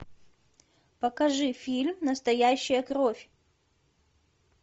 покажи фильм настоящая кровь